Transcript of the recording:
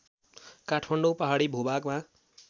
काठमाडौँ पहाडी भूभागमा